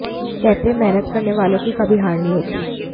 कहते हैं मेहनत करने वालों की कभी हार नहीं होती